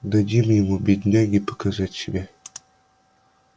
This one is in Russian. дадим ему бедняге показать себя